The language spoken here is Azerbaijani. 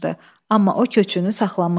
Amma o köçünü saxlamışdı.